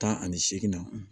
Tan ani seegin na